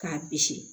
K'a bisi